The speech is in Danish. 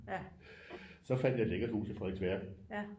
Så fandt jeg et lækkert hus i Frederiksværk